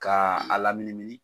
Ka a laminimini.